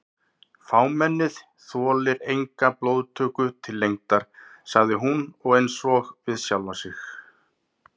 Fámennið þolir enga blóðtöku til lengdar sagði hún einsog við sjálfa sig.